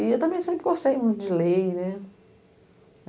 E eu também sempre gostei muito de lei, né?